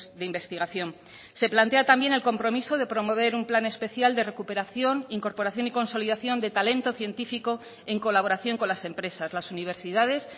de investigación se plantea también el compromiso de promover un plan especial de recuperación incorporación y consolidación de talento científico en colaboración con las empresas las universidades